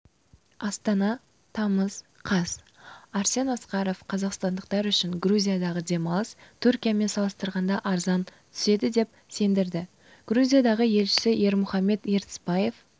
астана тамыз қаз арсен асқаров қазақстандықтар үшін грузиядағы демалыс түркиямен салыстырғанда арзан түседі деп сендірді грузиядағы елшісі ермұхамет ертісбаев